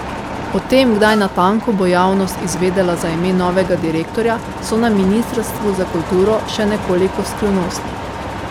O tem, kdaj natanko bo javnost izvedela za ime novega direktorja, so na ministrstvu za kulturo še nekoliko skrivnostni.